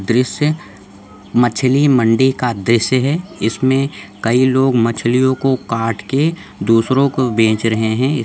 दृश्य मछली मंडी का दृश्य है इसमें कई लोग मछलियों को काट के दूसरो को बेच रहे है।